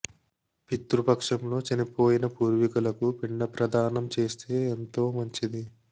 పితృ పక్షంలో చనిపోయిన పూర్వీకులకు పిండ ప్రధానం చేస్తే ఎంతో మంచిది